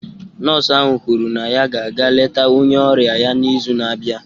Nọọsụ ahụ kwuru na ya ga-aga eleta onye ọrịa ya n’izu na-abịa.